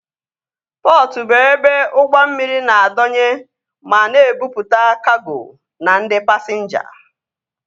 Pọtụ bụ ebe ụgbọ mmiri na-adọnye ma na-ebupụta kago na ndị pasinja